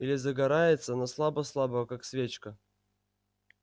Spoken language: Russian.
или загорается но слабо-слабо как свечка